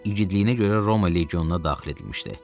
İgidliyinə görə Roma legionuna daxil edilmişdi.